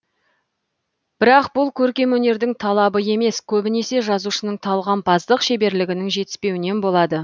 бірак бұл көркемөнердің талабы емес көбінесе жазушынын талғампаздық шеберлігінің жетіспеуінен болады